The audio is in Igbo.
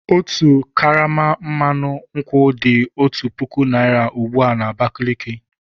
Otu karama mmanụ nkwụ dị otu puku naira ugbu a na Abakaliki.